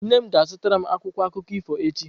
Nne m ga-azụtara m akwụkwọ akụkọ ifo echi.